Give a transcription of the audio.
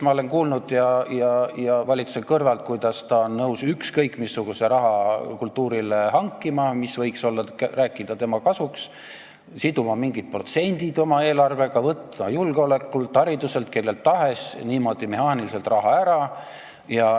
Ma olen kuulnud valitsuses ja valitsuse kõrvalt, kuidas ta on nõus kultuurile hankima ükskõik missugust raha, mis võiks rääkida tema kasuks, siduma mingid protsendid oma eelarvega, võtma julgeolekult või hariduselt, kellelt tahes mehaaniliselt raha ära.